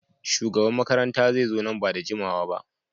Shugaban makaranta zai zo nan ba da jimawa ba.